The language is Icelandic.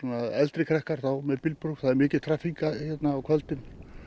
eldri krakkar þá með bílpróf það er mikil traffík hér á kvöldin